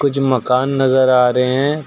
जो मकान नजर आ रहे हैं।